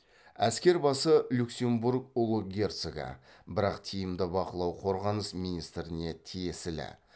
әскер басы люксембург ұлы герцогы бірақ тиімді бақылау қорғаныс министріне тиесілі